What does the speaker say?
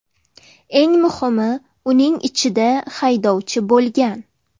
Eng muhimi uning ichida haydovchi bo‘lgan.